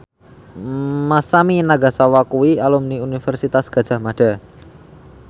Masami Nagasawa kuwi alumni Universitas Gadjah Mada